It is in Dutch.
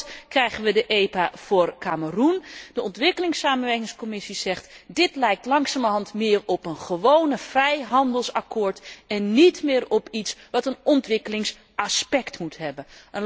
Binnenkort krijgen wij de EPO voor Kameroen. De Commissie ontwikkelingssamenwerking zegt dit lijkt langzamerhand meer op een gewoon vrijhandelsakkoord en niet meer op iets wat een ontwikkelingsaspect moet hebben.